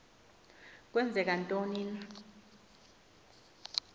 kwenzeka ntoni na